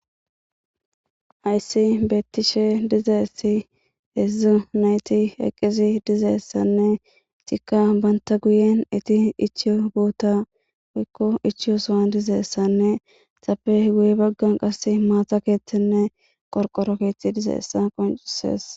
Hayssi beettishe dizeessi hedzdzu nayti eqqisi dizeessanne cika banta guyen iti ichiyo boota oykko ichiyo sowan dizeessanne xape guye baggan qasse maata keeththenne qorqoro keethti dizeessa qoncusees